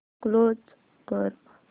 close कर